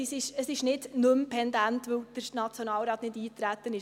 Es ist nicht nicht mehr pendent, weil der Nationalrat nicht darauf eingetreten ist;